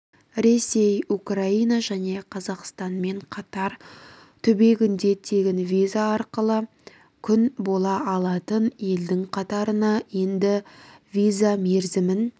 ресей украина және қазақстанкатар түбегінде тегін виза арқылы күн бола алатын елдің қатарына енді виза мерзімін